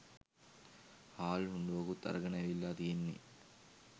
හාල් හුණ්ඩුවකුත් අරගෙන ඇවිල්ලා තියෙන්නෙ.